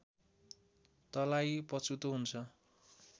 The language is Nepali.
तँलाई पछुतो हुन्छ